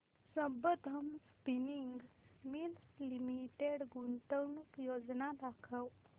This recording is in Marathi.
संबंधम स्पिनिंग मिल्स लिमिटेड गुंतवणूक योजना दाखव